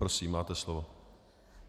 Prosím, máte slovo.